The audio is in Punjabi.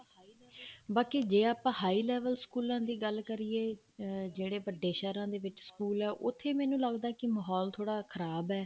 ਬਾਕੀ ਜੇ ਆਪਾਂ high level ਸਕੂਲਾਂ ਦੀ ਗੱਲ ਕਰੀਏ ਅਮ ਜਿਹੜੇ ਵੱਡੇ ਸਹਿਰਾਂ ਦੇ ਵਿੱਚ ਸਕੂਲ ਹੈ ਉੱਥੇ ਮੈਨੂੰ ਲੱਗਦਾ ਕੀ ਮਾਹੋਲ ਥੋੜਾ ਖਰਾਬ ਹੈ